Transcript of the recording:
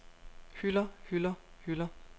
hylder hylder hylder